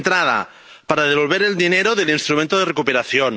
De entrada, para devolver el dinero del instrumento de recuperación.